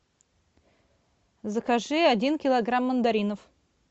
закажи один килограмм мандаринов